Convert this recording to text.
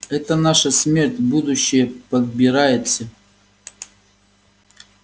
это наша смерть будущая подбирается